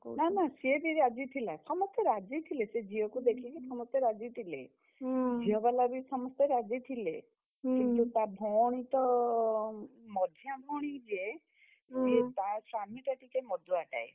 ନା ନା ସିଏ ବି ରାଜି ଥିଲା। ସମସ୍ତେ ରାଜି ଥିଲେ ସେ ଝିଅକୁ ଦେଖିକି ସମସ୍ତେ ରାଜି ଥିଲେ। ଝିଅବାଲା ବି ସମସ୍ତେ ରାଜି ଥିଲେ। କିନ୍ତୁ ତା ଭଉଣୀ ତ ମଝିଆ ଭଉଣୀ ଯେ, ତା ସ୍ୱାମିଟା ଟିକେ ମଦୁଆ ଟାଏ।